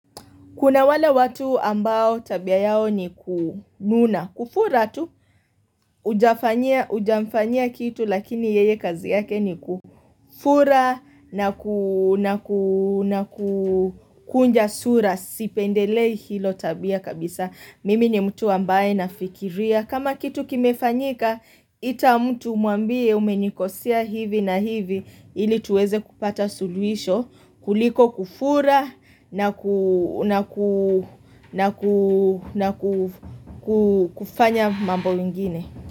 Kuna wala watu ambao tabia yao ni kununa. Kufura tu ujafanya kitu lakini yeye kazi yake ni kufura nakukunja sura. Sipendelei hilo tabia kabisa. Mimi ni mtu ambaye nafikiria. Kama kitu kimefanyika ita mtu umambie umenikosia hivi na hivi ili tuweze kupata suluhisho kuliko kufura na kufanya mambo ingine.